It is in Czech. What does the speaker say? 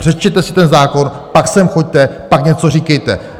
Přečtěte si ten zákon, pak sem choďte, pak něco říkejte.